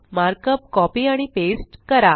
markup copy आणि paste करा